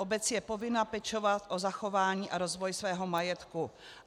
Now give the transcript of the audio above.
Obec je povinna pečovat o zachování a rozvoj svého majetku."